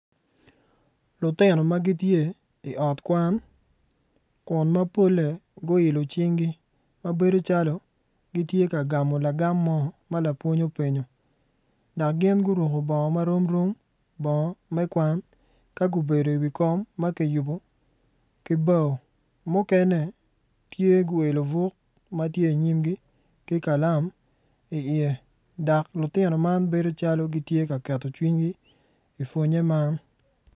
Lutino ma gitye i ot kwan kun mapolle guiolo cinggi ma bedo calo gitye ka gamo lagam mo ma lapwony openyo dak gin guruku bongo ma rom rom bongo me kwan ka gubedo iwi kom ma ki yubu ki bao tye guelo buk ma tye ki kalam i iye dok lutino man bedo calo gitye ka keto cwinygi i pwonnye man